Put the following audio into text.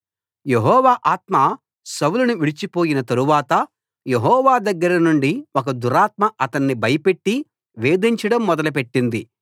యెహోవా ఆత్మ సౌలును విడిచిపోయిన తరువాత యెహోవా దగ్గర నుండి ఒక దురాత్మ అతణ్ణి భయపెట్టి వేధించడం మొదలుపెట్టింది